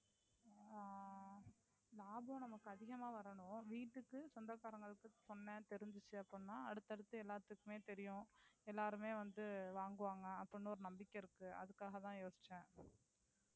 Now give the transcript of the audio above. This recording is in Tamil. அஹ் லாபம் நமக்கு அதிகமா வரணும் வீட்டிற்கு சொந்தக்காரங்களுக்கு சொன்னேன் தெரிஞ்சிச்சு அப்படினா அடுத்து அடுத்து எல்லாத்துக்குமே தெரியும் எல்லாருமே வந்து வாங்குவாங்க அப்படினு ஒரு நம்பிக்கை இருக்கு அதுக்காக தான் யோசிச்சேன்.